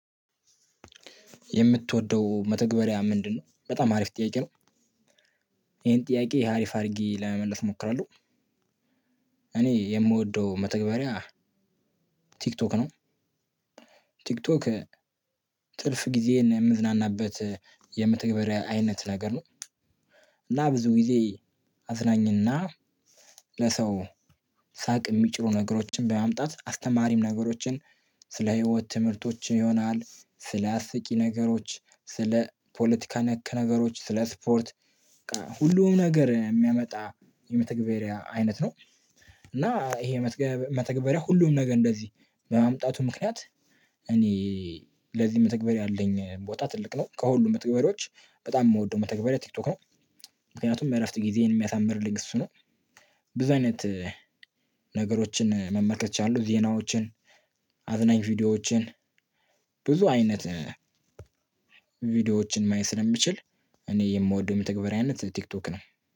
የምትወደው መተግበሪያ ምንድነው? በጣም አሪፍ ጥያቄ ነው ይሄን ጥያቄ ይሄ አሪፍ አድርጌ ለመመለስ እሞክራለሁ። እኔ የምወደው መተግበሪያ ቲክቶክ ነው። ቲክቶክ ጥርፍ ጊዜ የምዝናናበት የምትገበሬ አይነት ነገር ነው። እና ብዙ ጊዜ አዝናኝና ለሰው ሳቅ የሚጭሩ ነገሮችን በማምጣት አስተማሪም ነገሮችን ስለ ህይወት ትምህርቶች ይሆናል ስለ አስቂ ነገሮች ስለ ፖለቲካ ነክ ነገሮች ስለ ስፖርት ሁሉም ነገር የሚያመጣ የመተግበሪያ አይነት ነው። እና ይሄ የመተግበሪያ ሁሉም ነገር እንደዚህ በማምጣቱ ምክንያት እኔ ለዚህ መተግበር ያለኝ ቦታ ትልቅ ነው ከሁሉም መተግበሪዎች በጣም የምወደው መተግበሪያ ቲክቶክ ነው። ምክንያቱም እረፍት ጊዜን የሚያሳምርልኝ እሱ ነው። ብዙ አይነት ነገሮችን መመከት እችላለው ዜናዎችን አዝናኝ ቪዲዮዎችን ብዙ አይነት ቪዲዮዎችን ማየት ስለሚችል እኔ የምወደው የተግባራዊነት ቲክቶክ ነው።